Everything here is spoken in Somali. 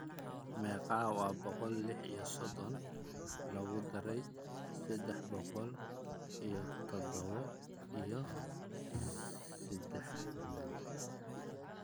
meeqa waa boqol iyo lix iyo soddon lagu daray saddex boqol iyo toddoba iyo siddeetan